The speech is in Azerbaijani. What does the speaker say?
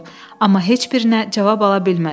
Amma heç birinə cavab ala bilmədi.